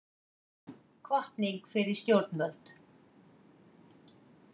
Hvatning fyrir stjórnvöld